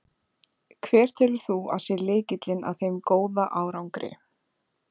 Hver telur þú að sé lykillinn að þeim góða árangri?